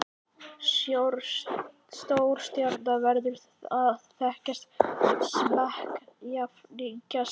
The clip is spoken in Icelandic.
Stórstjarna verður að þekkja smekk jafningja sinna.